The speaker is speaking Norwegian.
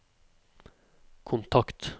kontakt